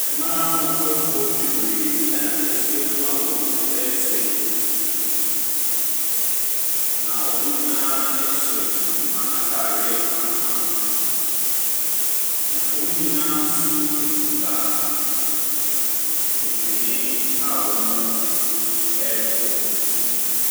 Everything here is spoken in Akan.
Mmaa ahoɔfɛfoɔ bebree ɛna ahyiam a wɔresa yi. Na wɔn nyinaa hyɛ ntoma ataareɛ kamakama. Na wɔn nyinaa nso ekuta ntwene a wɔrebɔ.